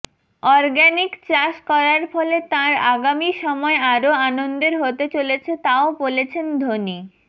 organic চাষ করার ফলে তাঁর আগামী সময় আরও আনন্দের হতে চলেছে তাও বলেছেন ধোনি